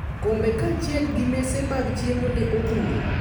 Kombe kaachiel gi mese mag chiemo ne odhuro.